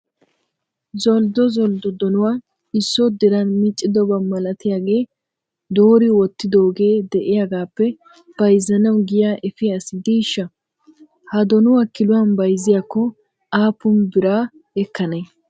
Zolddo zolddo donuwaa isso diran meeccidoba malatiyaaga doori wottidoogee de'iyaagappe bayzzanaw giya efiya asi diishsha? Ha donuwa kiluwan bayzziyakko aappun nira ekkanee?